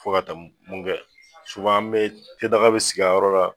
Fo ka taa munkɛ an bɛ te daga bɛ sigi a yɔrɔ la.